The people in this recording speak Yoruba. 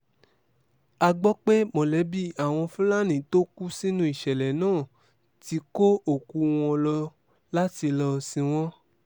a gbọ́ pé mọ̀lẹ́bí àwọn fúlàní tó kú sínú ìṣẹ̀lẹ̀ náà ti kó òkú wọn lọ láti lọ́ọ sìn wọ́n